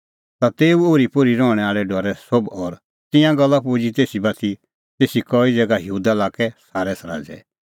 ता तेऊ ओरीपोरी रहणैं आल़ै डरै सोभ और तिंयां गल्ला पुजी तेसी बाती तेसी कई ज़ैगा यहूदा लाक्कै सारै सराज़ै